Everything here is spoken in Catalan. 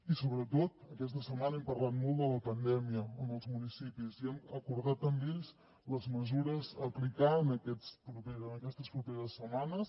i sobretot aquesta setmana hem parlat molt de la pandèmia amb els municipis i hem acordat amb ells les mesures a aplicar en aquestes properes setmanes